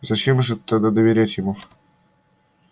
зачем же так доверять ему